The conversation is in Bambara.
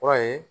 Kɔrɔ ye